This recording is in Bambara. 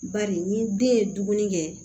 Bari ni den ye dumuni kɛ